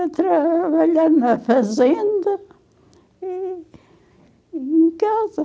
Eu trabalhava lá na fazenda e em e em casa.